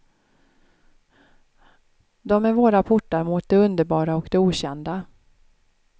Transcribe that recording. De är våra portar mot det underbara och det okända.